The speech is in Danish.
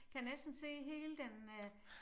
Kan næsten se hele den øh